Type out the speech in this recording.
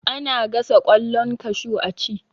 Ana gasa ƙwallon kashu a ci